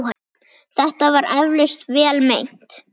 Þetta var eflaust vel meint.